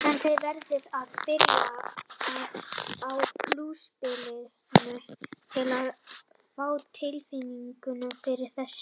En þið verðið að byrja á púsluspilinu til að fá tilfinninguna fyrir þessu.